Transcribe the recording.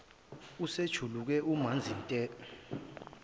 usejuluke umanzi nte